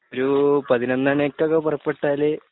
ഒരു പതിനൊന്നു മണിക്കൊക്കെ പുറപ്പെട്ടാല്